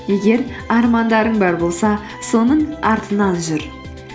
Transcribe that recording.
егер армандарың бар болса соның артынан жүр